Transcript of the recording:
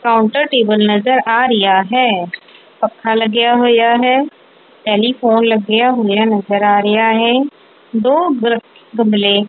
counter table ਨਜ਼ਰ ਆ ਰਿਹਾ ਹੈ ਪੱਖਾ ਲੱਗਿਆ ਹੋਇਆ ਹੈ ਟੈਲੀਫੋਨ ਲੱਗਿਆ ਹੋਇਆ ਨਜ਼ਰ ਆ ਰਿਹਾ ਹੈ ਦੋ ਗ਼ ਗਮਲੇ--